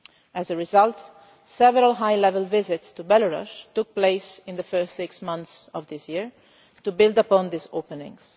As a result, several high level visits to Belarus took place in the first six months of this year to build on these openings.